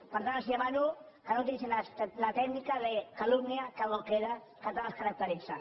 per tant els demano que no utilitzin la tècnica de calumnia que algo queda que tant els caracteritza